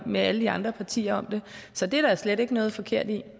med alle de andre partier om det så det er der slet ikke noget forkert i